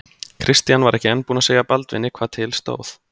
Christian var enn ekki búinn að segja Baldvini hvað til stóð.